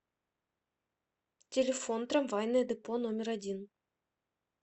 телефон трамвайное депо номер один